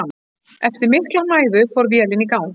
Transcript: Eftir mikla mæðu fór vélin í gang.